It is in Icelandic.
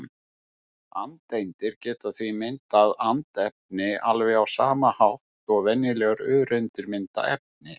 Andeindir geta því myndað andefni alveg á sama hátt og venjulegar öreindir mynda efni.